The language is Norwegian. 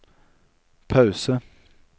pause